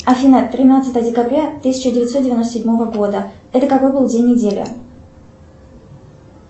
афина тринадцатое декабря тысяча девятьсот девяносто седьмого года это какой был день недели